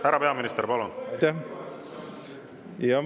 Härra peaminister, palun!